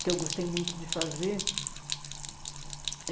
que eu gostei muito de fazer.